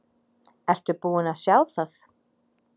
Ertu búinn að sjá það?